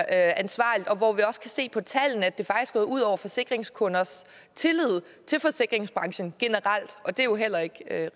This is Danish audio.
ansvarligt og hvor vi også kan se på tallene at det faktisk er gået ud over forsikringskunders tillid til forsikringsbranchen generelt og det er jo heller ikke